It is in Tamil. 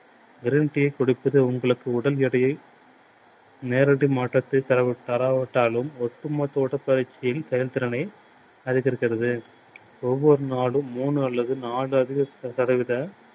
green tea யைக் குடிப்பது உங்களுக்கு உடல் எடையில் நேரடி மாற்றத்தை தராவிட்டாலும் ஒட்டுமொத்த உடல் வளர்ச்சியின் செயல் திறனை அதிகரிக்கிறது. ஒவ்வொரு நாளும் மூணு அல்லது நாலு அளவு தடவைகள்